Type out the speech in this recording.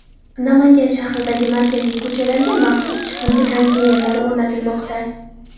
Namangan shahridagi markaziy ko‘chalarga maxsus chiqindi konteynerlari o‘rnatilmoqda.